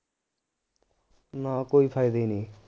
ਨਾ ਕੋਈ ਫਾਇਦਾ ਈ ਨਹੀਂ